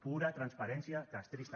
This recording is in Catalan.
pura transparència castrista